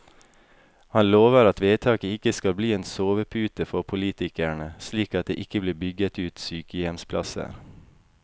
Han lover at vedtaket ikke skal bli en sovepute for politikerne, slik at det ikke blir bygget ut sykehjemsplasser.